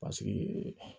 Paseke